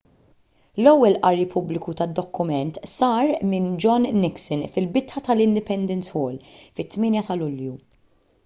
l-ewwel qari pubbliku tad-dokument sar minn john nixon fil-bitħa tal-independence hall fit-8 ta' lulju